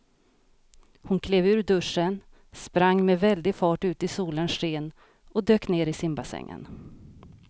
Hon klev ur duschen, sprang med väldig fart ut i solens sken och dök ner i simbassängen.